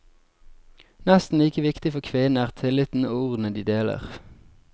Nesten like viktig for kvinnene er tilliten og ordene de deler.